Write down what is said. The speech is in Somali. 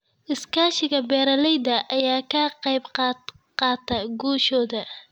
Iskaashiga beeralayda ayaa ka qayb qaata guushooda.